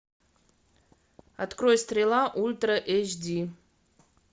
открой стрела ультра эйч ди